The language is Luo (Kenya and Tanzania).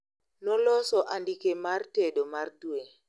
Noloso andike mar tedo mar dwe